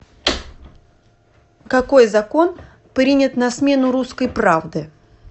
какой закон принят на смену русской правды